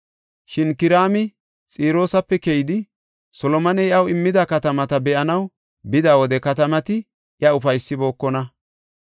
Shin Kiraami Xiroosape keyidi, Solomoney iyaw immida katamata be7anaw bida wode katamati iya ufaysibookona.